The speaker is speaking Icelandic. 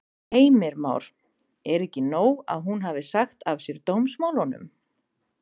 Heimir Már: Er ekki nóg að hún hafi sagt af sér dómsmálunum?